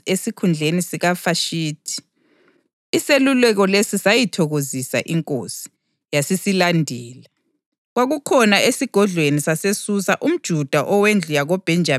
Besekusithi intombi ethokozisa inkosi ibe yiNdlovukazi esikhundleni sikaVashithi.” Iseluleko lesi sayithokozisa inkosi, yasisilandela.